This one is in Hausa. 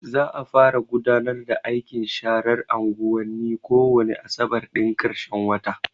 Za a fara gudanar da aikin sharar anguwanni ko wane asabar ɗin ƙarshen wata.